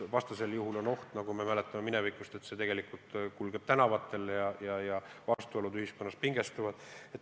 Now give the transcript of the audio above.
Vastasel juhul on oht, nagu me mäletame minevikust, et tegelikult kulgeb dialoog tänavatel ja vastuolud ühiskonnas kasvavad.